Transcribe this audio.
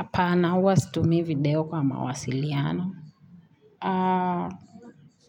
Apana, uwa situmi video kwa mawasiliano.